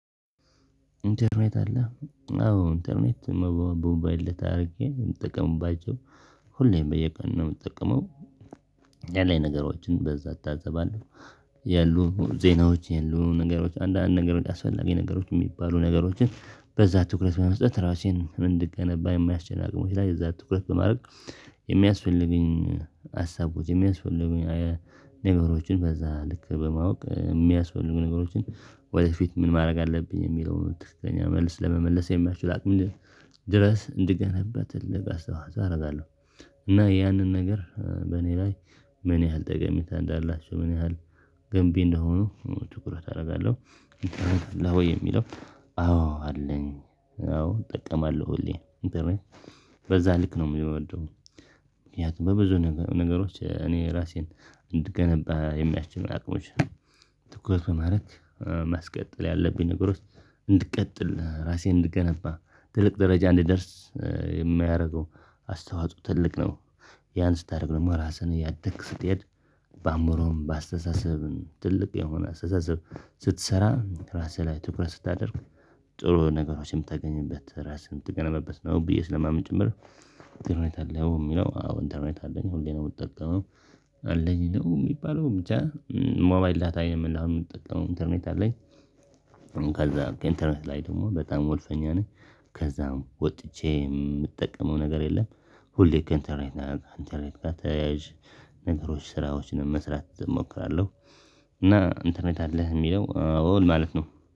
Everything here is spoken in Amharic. ኢንተርኔት አለ አዎ ኢንተርኔት በሞባይለ ዳታ አድርጌ የምጠቀምባቸው ሁሌም በየቀኑ ነው። የምትጠቀመው? ያለኝ ነገሮችን በዛ አታዘባለሁ። ያሉት ዜናዎች ያሉ ነገሮች አንዳንድ ነገር አስፈላጊ ነገሮች የሚባሉ ነገሮችን በዛ ትኩረት በመስጠት ራሴን እንድገነባ የሚያስችል እዛ ላይ ትኩረት በማድረግ የሚያስፈልጉኝ ሀሳቦች የሚያስፈልጉኝ ነገሮችን በዛ ልክ በማወቅ የሚያስፈልጉ ነገሮችን ወደፊት ምን ማድረግ አለብኝ የሚለውን ትክክለኛ መልስ ለመመለስ የሚያችል አቅም ይልቅ ድረስ እንድገናኝበት እንድገናኝበት አደርጋለሁ። እና ያንን ነገር በእኔ ላይ ምን ያህል ጠቀሜታ እንዳላችሁ ምን ያህል ገንቢ እንደሆኑ ትኩረት አደርጋለሁ። አለ ሆይ የሚለው? አዎ አለኝ አዎ እጠቀማለሁ ሁሌ ኢንተርኔት በዛ ልክ ነው የምወደው። ምክኒያቱም በብዙ ነገሮች እኔ ራሴን እንድገነባ የሚያስችል አቅሞች ትኩረት በማድረግ ማስቀጠል ያለብኝ ነገሮች እንድቀጥል ራሴን እንድገነባ ትልቅ ደረጃ እንድደርስ የሚያደርገው አስተዋጽኦ ትልቅ ነው። ያን ስታደርግ ደግሞ ራስህን እያደግክ ስትሄድ በአእምሮህም በአስተሳሰብህም ትልቅ የሆነ አስተሳሰብ ስትሰራ ራስህ ላይ ትኩረት ስታደርግ ጥሩ ነገሮችንም ታገኝበት ራስህን የምትገነባበት ነው። ብዬ ስለማምን ጭምር። ኢንተርኔት አለ ወይ የሚለው? አዎ ኢንተርኔት አለኝ ሁሌ ነው የምትጠቀመው? አለኝ ይለው የሚባለው ብቻ ሞባይል ዳታ የምንለው አሁን የምንጠቀመው ኢንተርኔት አለኝ። ከዛ ከኢንተርኔት ላይ ደግሞ በጣም ወልፈኛ ነኝ። ከዛም ወጥቼ የምጠቀመው ነገር የለም። ሁሌ ከኢንተርኔት ጋር አንተርኔት ጋር ተያያዥ ነገሮች ስራዎችን መስራት እሞክራለሁ። እና ኢንተርኔት አለ የሚለው አው ማለት ነው